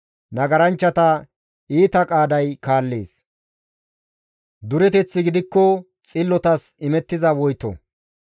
Nagaranchchata iita qaaday kaallees; dureteththi gidikko xillotas imettiza woyto.